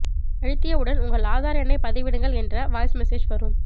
அழுத்தியவுடன் உங்கள் ஆதார் எண்ணை பதிவிடுங்கள் என்ற வாய்ஸ் மேசெஜ் வரும்